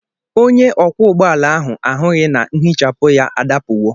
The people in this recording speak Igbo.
Onye ọkwọ ụgbọ ala ahụ ahụghị na nhichapụ ya adapụwo.